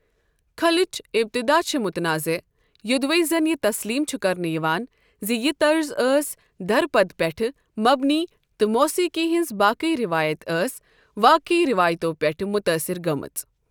کھلٕچ ابتدا چھِ متنازع، یِدوے زَن یہِ تسلیم چھُ کرنہٕ یِوان زِ یہِ طرز ٲس دھرپد پٮ۪ٹھ مبنی تہٕ موسیقی ہٕنٛزِ باقےٕ روایت ٲس واقےٕ ریواتو پٮ۪ٹھ مُتٲثر گٔمٕژ۔